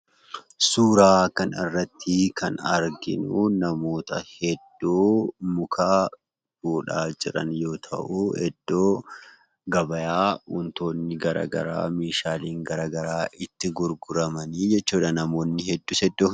Suuraa kanarratti kan argitu namoota hedduu muka fuudhaa jiran yoo ta'u, iddoo gabaa wantoonni garaagaraa , meeshaaleen garaagaraa itti gurguramanii jechuudha.